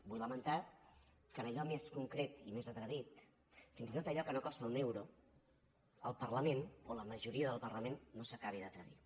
vull lamentar que en allò més concret i més atrevit fins i tot en allò que no costa un euro el parlament o la majoria del parlament no s’acabi d’atrevir